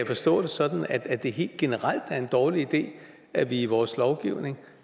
forstå det sådan at det helt generelt er en dårlig idé at vi i vores lovgivning